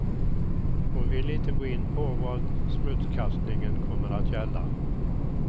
Hon ville inte gå in på vad smutskastningen kommer att gälla.